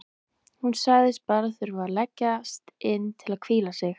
Hún sagðist bara þurfa að leggjast inn til að hvíla sig.